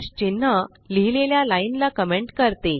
चिन्ह लिहिलेल्या लाइन ला कमेंट करते